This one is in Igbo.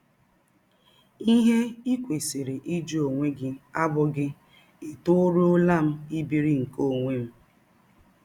Ihe i kwesịrị ịjụ ọnwe gị abụghị ètọrụọla m ibiri nke ọnwe m?